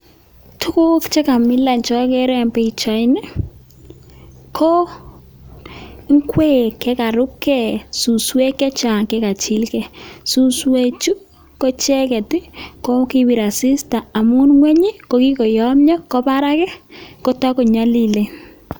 Tukuk chekamilan chokere en pichaini ko ing'wek chekarubke, suswek chechang chekachilkee, suswechu ko icheket ko kobir asista amun ngweny ko kikoyomnyo ko barak ko tokonyolilen.